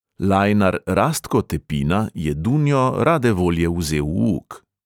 Lajnar rastko tepina je dunjo rade volje vzel v uk.